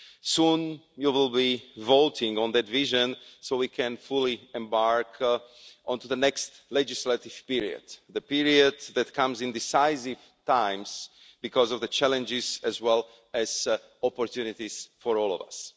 Soon you will be voting on that vision so we can fully embark onto the next legislative period, a period that comes in decisive times because of the challenges as well as the opportunities for all of us.